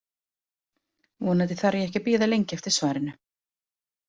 Vonandi þarf ég ekki að bíða lengi eftir svarinu.